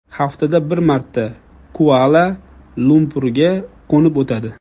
Haftada bir marta Kuala-Lumpurga qo‘nib o‘tadi.